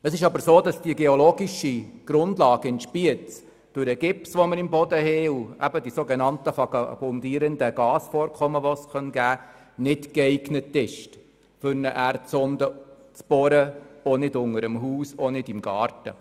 Es ist aber so, dass die geologische Grundlage in Spiez durch den im Boden vorhandenen Gips und die sogenannten vagabundierenden Gasvorkommen nicht für das Bohren von Erdsonden geeignet ist, auch nicht unter dem Haus und auch nicht unter dem Garten.